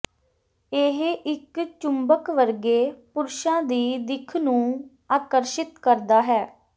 ਇਹ ਇੱਕ ਚੁੰਬਕ ਵਰਗੇ ਪੁਰਸ਼ਾਂ ਦੀ ਦਿੱਖ ਨੂੰ ਆਕਰਸ਼ਿਤ ਕਰਦਾ ਹੈ